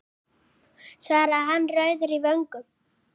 svaraði hann rauður í vöngum.